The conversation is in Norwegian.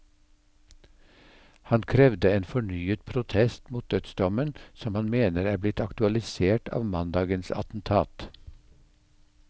Han krevde en fornyet protest mot dødsdommen som han mener er blitt aktualisert av mandagens attentat.